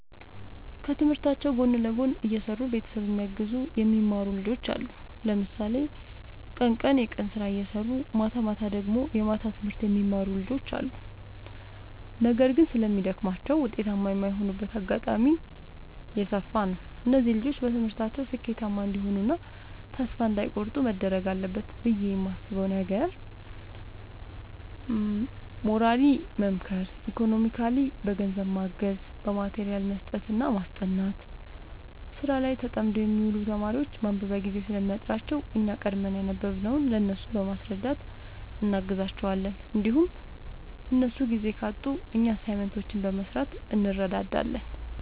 ከትምህርታቸው ጎን ለጎን እየሰሩ ቤተሰብ እያገዙ የሚማሩ ብዙ ልጆች አሉ። ለምሳሌ ቀን ቀን የቀን ስራ እየሰሩ ማታማታ ደግሞ የማታ ትምህርት የሚማሩ ልጆች አሉ። ነገር ግን ስለሚደግማቸው ውጤታማ የማይሆኑበት አጋጣሚ የሰፋ ነው። እነዚህ ልጆች በትምህርታቸው ስኬታማ እንዲሆኑ እና ተስፋ እንዳይ ቆርጡ መደረግ አለበት ብዬ የማስበው ነገር ሞራሊ መምከር ኢኮኖሚካሊ በገንዘብ ማገዝ በማቴሪያል መስጠትና ማስጠናት። ስራ ላይ ተጠምደው የሚውሉ ተማሪዎች ማንበቢያ ጊዜ ስለሚያጥራቸው እኛ ቀድመን ያነበብንውን ለእነሱ በማስረዳት እናግዛቸዋለን እንዲሁም እነሱ ጊዜ ካጡ እኛ አሳይመንቶችን በመስራት እንረዳዳለን